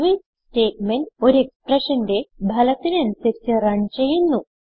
switch statement ഒരു exprssionന്റെ ഫലത്തിന് അനുസരിച്ച് റൺ ചെയ്യുന്നു